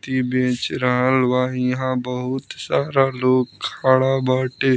ती बेच रहल बा। यहाँ बहुत सारा लोग खड़ा बाटे।